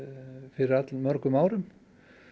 fyrir allmörgum árum